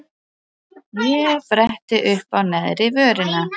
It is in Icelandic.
Ég bretti uppá neðri vörina.